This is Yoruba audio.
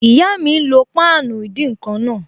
Ìyá mi n lo páànù ìdín-nǹkan náà